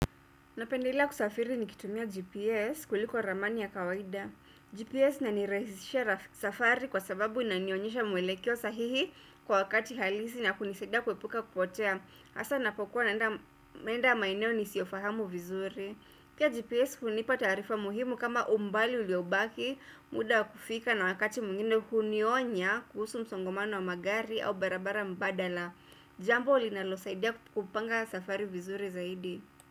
Napendela kusafiri ni kitumia GPS kuliko ramani ya kawaida. GPS inanirahisisha safari kwa sababu inanionyesha muelekeo sahihi kwa wakati halisi na kunisadia kuepuka kupotea. Hasa napokuwa naenda maenda maeneo nisiyofahamu vizuri. Pia GPS kunipa taarifa muhimu kama umbali uliobaki muda wa kufika na wakati mwingine kunionya kuhusu msongomano wa magari au barabara mbadala. Jambo ulinalosaidia kupanga safari vizuri zaidi.